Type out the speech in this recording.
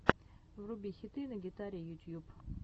вруби хиты на гитаре ютьюб